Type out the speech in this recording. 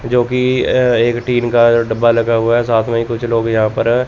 जो की अ एक टीन का डब्बा लगा हुआ है साथ में ही कुछ लोग यहां पर--